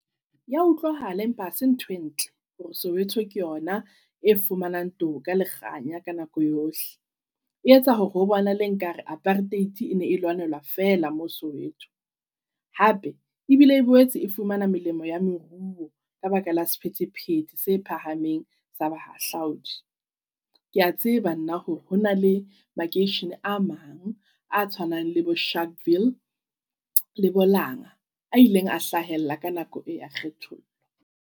Ya utlwahala, empa hase ntho e ntle hore Soweto ke yona e fumanang toka le kganya ka nako yohle. E etsa hore ho bonahale nkare apartheid e ne e lwanelwa feela mo Soweto. Hape ebile e boetse e fumana melemo ya meruo ka baka la sephethephethe se phahameng sa bahahlaudi. Kea tseba nna hore hona le makeishene a mang a tshwanang le bo Sharpville, le bo Langa a ileng a hlahella ka nako e ya kgethollo.